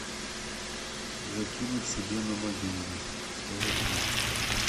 закинуть себе на мобильный сто рублей